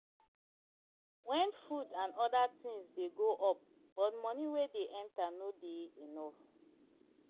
When food and oda things dey go up but money wey dey enter no dey enough